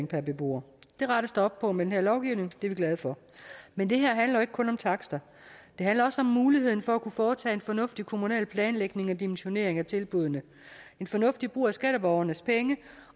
per beboer det rettes der op på med den her lovgivning og det er vi glade for men det her handler jo ikke kun om takster det handler også om muligheden for at kunne foretage en fornuftig kommunal planlægning og dimensionering af tilbuddene en fornuftig brug af skatteborgernes penge